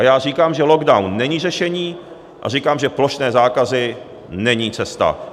A já říkám, že lockdown není řešení, a říkám, že plošné zákazy není cesta.